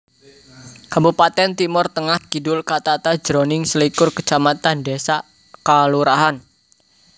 Kabupatèn Timor Tengah Kidul katata jroning selikur kacamatan désa/kalurahan